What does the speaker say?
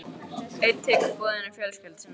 Einn tekur boðinu fjölskyldu sinnar vegna.